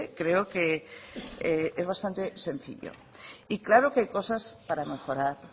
creo que es bastante sencillo y claro que hay cosas para mejorar